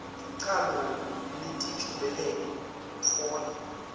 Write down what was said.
ticalo netijobelelo kutfola